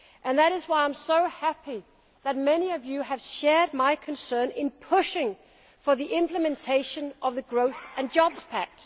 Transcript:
That is why I am so happy that many of you have shared my concern in pushing for the implementation of the Growth and Jobs Pact.